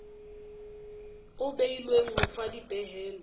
o beilweng ho fa dipehelo